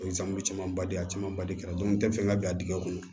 camanba de a camanba de kɛra n tɛ fɛn ka bi a dingɛ kɔnɔ